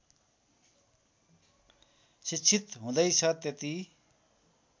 शिक्षित हुँदैछ त्यति